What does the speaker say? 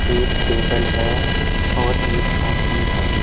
एक टेबल है और एक आदमी है।